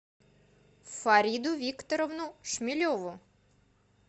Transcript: фариду викторовну шмелеву